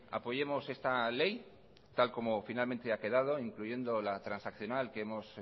apoyemos esta ley tal como finalmente ha quedado incluyendo la transaccional que hemos